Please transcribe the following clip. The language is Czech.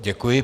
Děkuji.